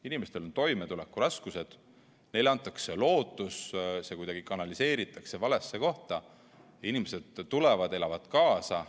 Inimestel on toimetulekuraskused, neile antakse lootus, see kuidagi kanaliseeritakse valesse kohta, inimesed tulevad, elavad kaasa.